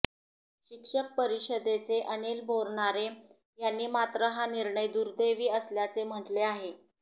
शिक्षक परिषदेचे अनिल बोरनारे यांनी मात्र हा निर्णय दुर्दैवी असल्याचे म्हटले आहे